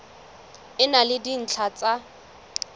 e na le dintlha tsa